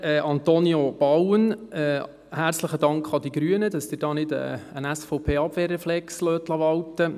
Antonio Bauen, herzlichen Dank an die Grünen, dass Sie hier nicht einen SVP-Abwehrreflex walten lassen.